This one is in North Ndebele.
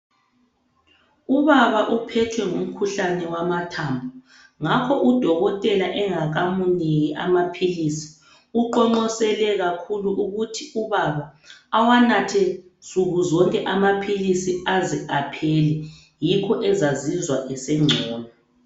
Ubaba uphethwe ngukhuhlane wamathambo ngakho udokotela engakamniki amaphilisi uqonqosele kakhulu ukuthi ubaba awanathe nsukuzonke amaphilisi aze aphele yikho ezazizwa esengcono.